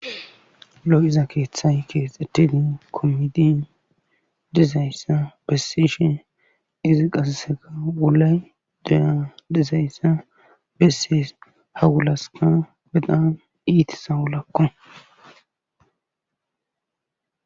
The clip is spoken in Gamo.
lo77iza keeththaykeex ettidin kommidin dizayssa bessishe izi qasaseka wulay dea dizayssa besses hagulaska bedaa iitisa wulaakko